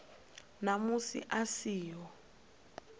na musi a si ho